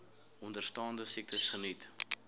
onderstaande siektes geniet